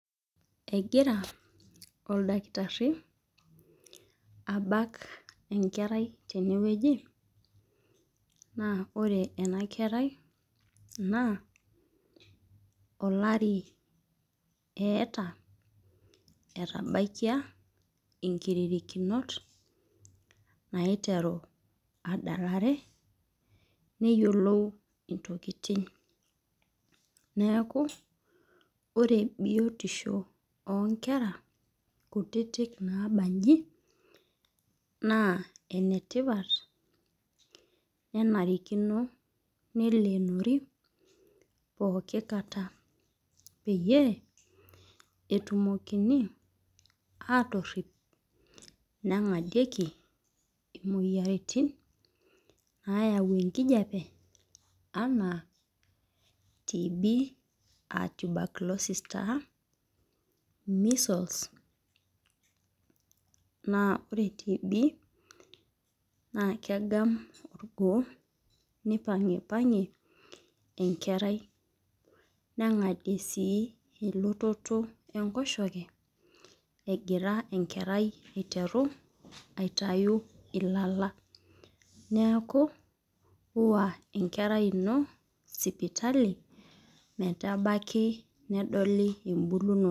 Egira oldakitari abak enkerai tene wueji naa ore ena kerai, naa olari eeta. etabaikia inkirierinot naiteru aadalare. Neyiolou intokitin neeku ore biotisho oo nkera kutitik naabaji. naa ene tipat nemarikino neleenori. pooki kata peyie etumokini aatorip. negadieki imoyiaritin nayau enkijiape anaa tb aa tuberculosis taa measles naa ore tb naa kegam olgoo. nipangipangie enkerai. negadie sii elototo. enkoshoke egira enkerai aiteru aitayu ilala. neekuniwa enkerai ino sipitali metabaki nedoli ebulunoto.